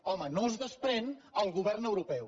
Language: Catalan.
home no es desprèn el govern europeu